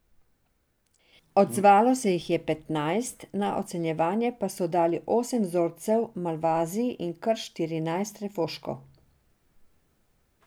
Odzvalo se jih je petnajst, na ocenjevanje pa so dali osem vzorcev malvazij in kar štirinajst refoškov.